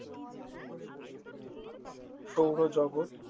সৌরজগৎ